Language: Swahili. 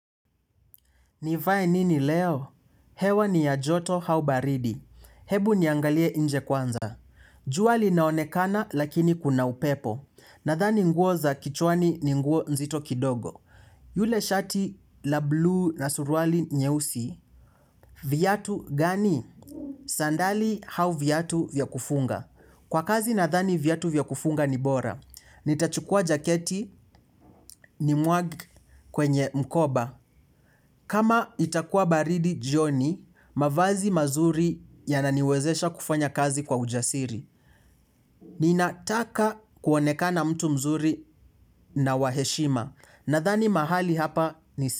Nivae nini leo? Hewa ni ya joto hau baridi. Hebu niangalie nje kwanza. Jua li naonekana lakini kuna upepo. Nathani nguo za kichwani ninguo nzito kidogo. Yule shati la bluu na suruali nyeusi. Viatu gani? Sandali au viatu vyakufunga. Kwa kazi nathani viatu vyakufunga ni bora. Nitachukua jaketi ni mwage kwenye mkoba. Kama itakuwa baridi jioni, mavazi mazuri ya naniwezesha kufanya kazi kwa ujasiri. Ninataka kuonekana mtu mzuri na waheshima. Nathani mahali hapa ni si.